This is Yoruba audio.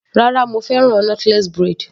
Rárá mo fẹ́ràn knotless braid.